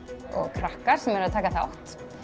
krakka sem eru að taka þátt